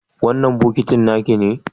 wannan bokitin nakine?